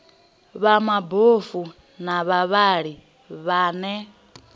vha mabofu na vhavhali vhane